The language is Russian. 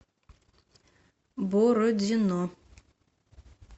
бородино